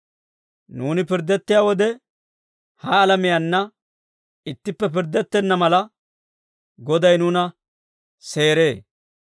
Nuuni pirddettiyaa wode, ha alamiyaanna ittippe pirddettenna mala, Goday nuuna seeree.